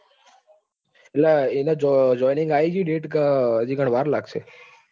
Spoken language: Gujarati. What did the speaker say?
એટલે એને joining આવી ગઈ date કે હજુ કણ વાર લાગશે?